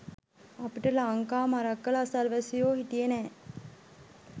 අපිට ලංකා මරක්කල අසල්වැසියෝ හිටියේ නෑ